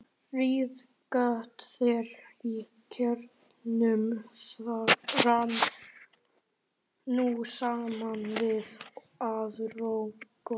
Reiðgata þeirra í kjarrinu rann nú saman við aðra götu.